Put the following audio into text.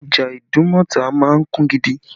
Ọjà Idumota máa ń kún gidi